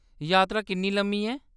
यात्रा किन्नी लम्मी ऐ?